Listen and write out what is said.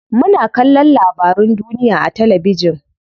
Muna kallon labarun duniya a talabijin.